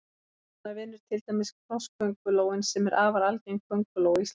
Svona vinnur til dæmis krosskóngulóin sem er afar algeng kónguló á Íslandi.